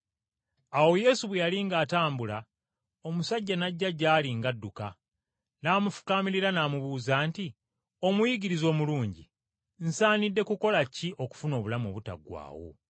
Awo Yesu bwe yali ng’atambula, omusajja n’ajja gy’ali ng’adduka, n’amufukaamirira n’amubuuza nti, “Omuyigiriza omulungi, nsaanidde kukola ki okufuna obulamu obutaggwaawo?”